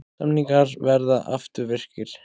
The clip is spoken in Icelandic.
Samningar verði afturvirkir